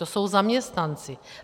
To jsou zaměstnanci.